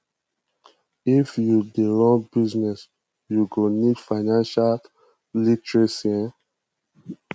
if you dey run business you go need financial literacy um